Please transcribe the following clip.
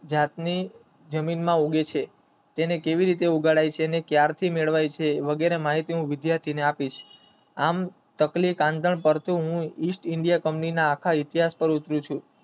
જાતને જમીનમાં કેવી રીતે ઉગાડાય છે અને કયારથી મેળવાય છે વગેરેમાં સૂચના વિદ્યાર્થી ઓ ને આમ હું ઇસ્ટ ઇન્ડિયા ના ઇતિહાસ પર છું